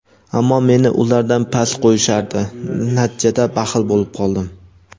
ammo meni ulardan past qo‘yishardi - natijada baxil bo‘lib qoldim.